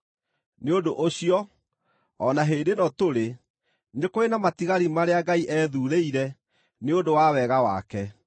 Nĩ ũndũ ũcio, o na hĩndĩ ĩno tũrĩ, nĩ kũrĩ na matigari marĩa Ngai ethuurĩire nĩ ũndũ wa wega wake.